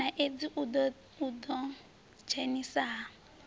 na eidzi u ḓidzhenisa ha